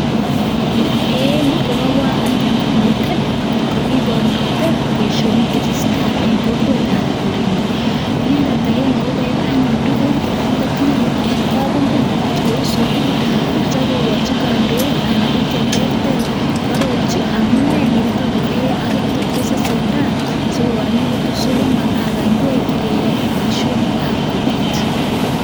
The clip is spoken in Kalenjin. En Yu kokabar anyun komiten kakibarunate Baishonik chetesetai en kokwet anan korenyun inendet agenge kokaib anyun tuguk chetam kotinye en kabungui Kou sukuma akitya kobarchi kandoik anan bik cheterter kwarorchi amune kit netot keyai ak kit netot ketesentai sikokaranikitun sukuma anan ingwek Baishonik ab kokwet